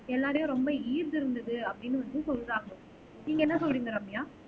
எல்லாரையும் ரொம்ப ஈர்த்து இருந்தது அப்படின்னு வந்து சொல்றாங்க நீங்க என்ன சொல்றீங்க ரம்யா